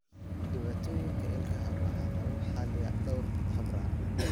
Dhibaatooyinka ilkaha waxaa lagu xalliyaa dhowr habraac.